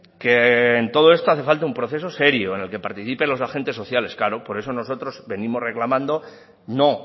que en todo esto hace falta un proceso serio en la que participen los agentes sociales claro por eso nosotros venimos reclamando no